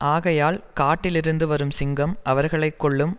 ஆகையால் காட்டிலிருந்து வரும் சிங்கம் அவர்களை கொல்லும்